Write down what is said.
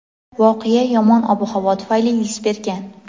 Voqea yomon ob-havo tufayli yuz bergan.